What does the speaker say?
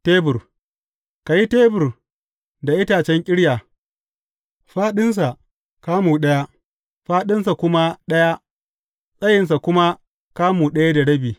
Tebur Ka yi tebur da itacen ƙirya, tsawonsa kamu biyu, fāɗinsa kamu ɗaya, tsayinsa kuma kamu ɗaya da rabi.